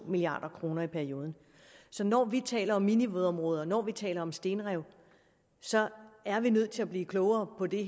milliard kroner i perioden så når vi taler om minivådområder når vi taler om stenrev så er vi nødt til at blive klogere på det